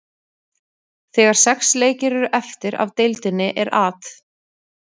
Þegar sex leikir eru eftir af deildinni er At.